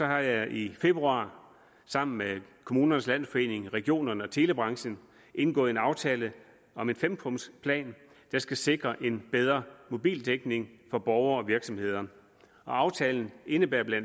har jeg i februar sammen med kommunernes landsforening regionerne og telebranchen indgået en aftale om en fempunktsplan der skal sikre en bedre mobildækning for borgere og virksomheder aftalen indebærer bla